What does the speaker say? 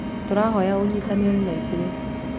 Tũrahoya ũnyitanĩre na ithuĩ.